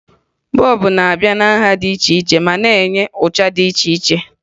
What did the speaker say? Bọọbụ n'abịa na nha dị iche ma na-enye ụcha dị iche iche